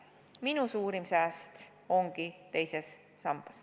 Minu suurim sääst ongi teises sambas.